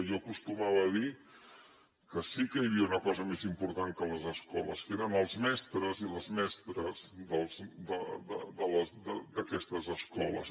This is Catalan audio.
jo acostumava a dir que sí que hi havia una cosa més important que les escoles que eren els mestres i les mestres d’aquestes escoles